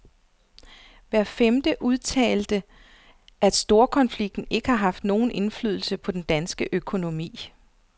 Hver femte udtalte, at storkonflikten ikke har haft nogen indflydelse på den danske økonomi.